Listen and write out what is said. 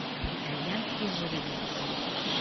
итальянский жеребец